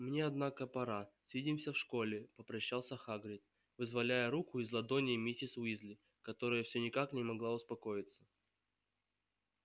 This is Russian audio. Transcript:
мне однако пора свидимся в школе попрощался хагрид вызволяя руку из ладоней миссис уизли которая всё никак не могла успокоиться